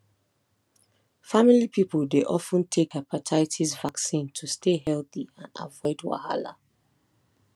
family people dey of ten take hepatitis vaccine to stay healthy and avoid wahala